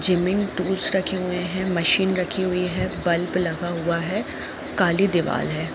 जमीन टूल्स रखे हुए हैं। मशीन रखी हुई है। बल्ब लगा हुआ है। काली दीवाल है।